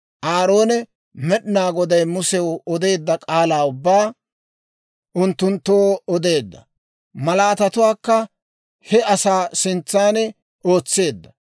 Aaroone Med'inaa Goday Musew odeedda k'aalaa ubbaa unttunttoo odeedda. Malaatatuwaakka he asaa sintsan ootseedda.